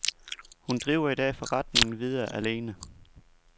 Hun driver i dag forretningen videre alene.